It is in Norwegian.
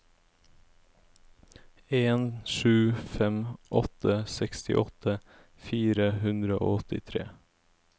en sju fem åtte sekstiåtte fire hundre og åttitre